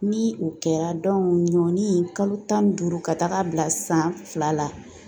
Ni o kɛra ɲɔni kalo tan ni duuru ka taaga bila san fila la